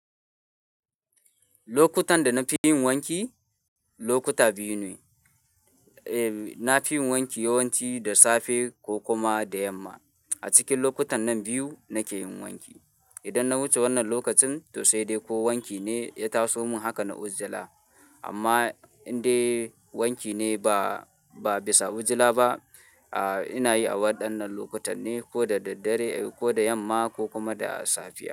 Lokutan da na fi yin wanki lokuta biyu ne. Eh, na fi yin wanki yawanci da safe ko kuma da yamma. A cikin lokutan nan biyu nake yin wanki. Idan na wuce wannan lokacin to sai dai ko wanki ne ya taso mun haka na ujila. Amma in dai wanki ne ba, ba bisa hujila ba, ah, ina yi a waɗannan lokutan ne ko da daddare ko da yamma ko kuma da safiya.